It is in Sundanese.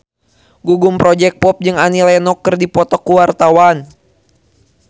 Gugum Project Pop jeung Annie Lenox keur dipoto ku wartawan